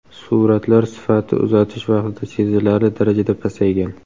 Suratlar sifati uzatish vaqtida sezilarli darajada pasaygan.